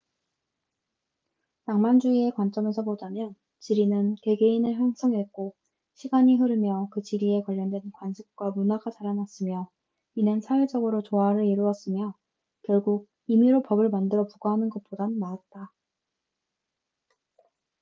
낭만주의의 관점에서 보자면 지리는 개개인을 형성했고 시간이 흐르며 그 지리에 관련된 관습과 문화가 자라났으며 이는 사회적으로 조화을 이루었으며 결국 임의로 법을 만들어 부과하는 것보단 나았다